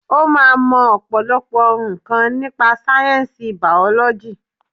O máa mọ ọ̀pọ̀lọpọ̀ nǹkan nípa sáyẹ̀nsì bàọ́lọ́jì